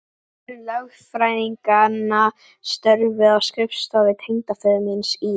Tveir lögfræðinganna störfuðu á skrifstofu tengdaföður míns í